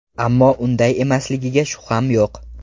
Ammo unday emasligiga shubham yo‘q.